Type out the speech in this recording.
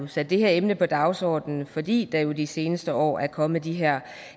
sat det her emne på dagsordenen fordi der jo de seneste år er kommet de her